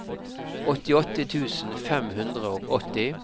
åttiåtte tusen fem hundre og åtti